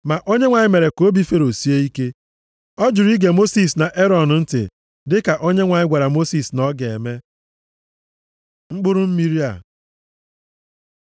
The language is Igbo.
Ma Onyenwe anyị mere ka obi Fero sie ike. Ọ jụrụ ige Mosis na Erọn ntị dịka Onyenwe anyị gwara Mosis na ọ ga-eme. Mkpụrụ mmiri a